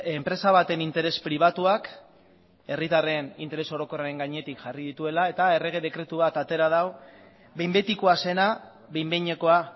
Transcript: enpresa baten interes pribatuak herritarren interes orokorraren gainetik jarri dituela eta errege dekretu bat atera du behin betikoa zena behin behinekoa